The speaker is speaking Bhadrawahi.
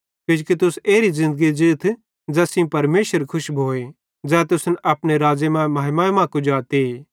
कि तुस एरी ज़िन्दगी ज़ीथ ज़ैस सेइं परमेशर खुश भोए ज़ै तुसन अपने राज़्ज़े ते महिमा मां कुजाते